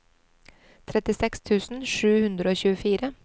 trettiseks tusen sju hundre og tjuefire